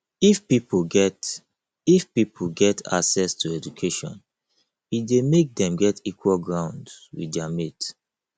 if pipo get if pipo get access to education e de make dem get equal ground with their mates